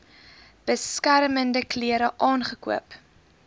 beskermende klere aangekoop